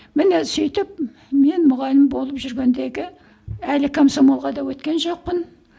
міне сөйтіп мен мұғалім болып жүргендегі әлі комсомолға да өткен жоқпын